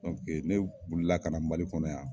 Ne wuli la ka na Mali kɔnɔ yan.